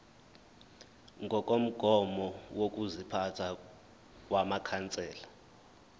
ngokomgomo wokuziphatha wamakhansela